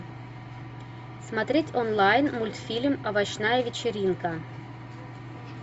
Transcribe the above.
смотреть онлайн мультфильм овощная вечеринка